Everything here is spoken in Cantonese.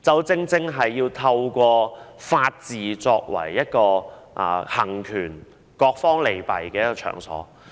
正正便是透過法治來作為權衡各方利弊。